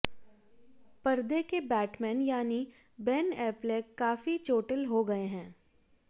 पर्दे के बैटमैन यानी बेन एप्लेक काफी चोटिल हो गए हैं